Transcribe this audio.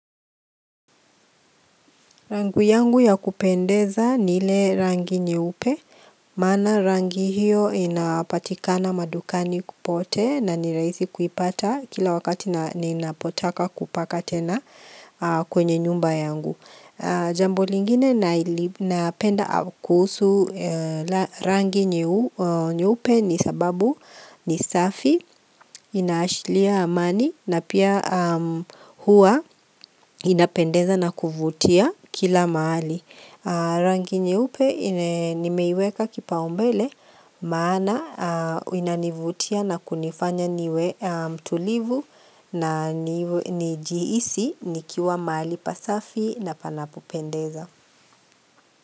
Rangi yangu ya kupendeza ni ile rangi nyeupe, maana rangi hiyo inapatikana madukani popote na nirahisi kuipata kila wakati nina potaka kupaka tena kwenye nyumba yangu. Jambo lingine napenda kuhusu rangi nyeupe ni sababu ni safi, ina ashiria amani na pia huwa inapendeza na kuvutia kila mahali. Rangi nyeupe nimeiweka kipaombele maana inanivutia na kunifanya niwe mtulivu na nijihisi nikiwa mahali pasafi na panapopendeza.